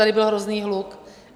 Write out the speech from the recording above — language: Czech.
Tady byl hrozný hluk.